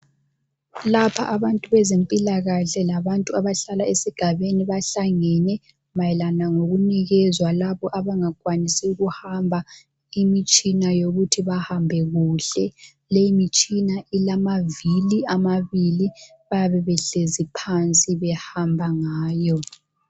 Lapha abantu bezempilakahle labantu abahlala esigabeni bahlangene mayelana ngokunikezwa labo abangakwanisi ukuhamba imitshini yokuthi bahambe kuhle. Leyimitshina ilamaviri amabili. Bayabe behlezi phansi behamba ngayo.